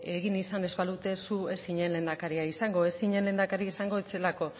egin ez izan ez balute zu ez zinen lehendakaria izango ez zinen lehendakaria izango ez zelako